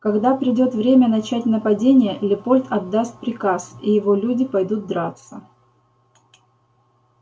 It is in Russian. когда придёт время начать нападение лепольд отдаст приказ и его люди пойдут драться